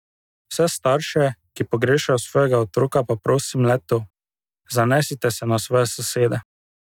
Vse starše, ki pogrešajo svojega otroka, pa prosim le to: 'Zanesite se na svoje sosede.